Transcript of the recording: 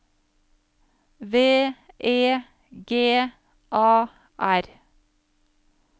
V E G A R